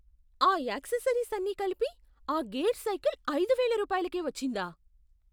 ఆ యాక్సెసరీస్ అన్నీ కలిపి ఆ గేర్ సైకిల్ ఐదువేల రూపాయలకే వచ్చిందా?